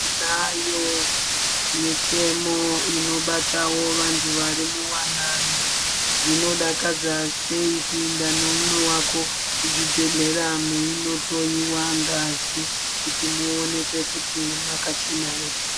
Tinayo motemo inobatawo vantu varimuwanano. Zvinodakadza sei kuinda neumwe wako kuzvibhehlera meindohloiwa ngazi kuti muonekwe kuti makachena ere.